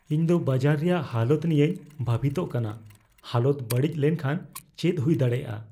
ᱤᱧ ᱫᱚ ᱵᱟᱡᱟᱨ ᱨᱮᱭᱟᱜ ᱦᱟᱞᱚᱛ ᱱᱤᱭᱟᱹᱧ ᱵᱷᱟᱹᱵᱤᱛᱚᱜ ᱠᱟᱱᱟ ᱾ ᱦᱟᱞᱚᱛ ᱵᱟᱹᱲᱤᱡ ᱞᱮᱱᱠᱷᱟᱱ ᱪᱮᱫ ᱦᱩᱭ ᱫᱟᱲᱮᱭᱟᱜᱼᱟ ?